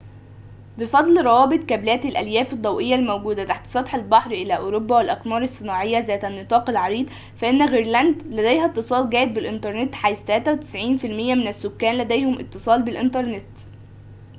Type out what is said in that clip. بفضل روابط كابلات الألياف الضوئية الموجودة تحت سطح البحر إلى أوروبا والأقمار الصناعية ذات النطاق العريض، فإن غرينلاند لديها اتصال جيد بالإنترنت حيث 93٪ من السكان لديهم اتصال بالإنترنت